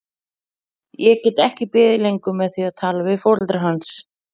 Ég get ekki beðið lengur með að tala við foreldra hans.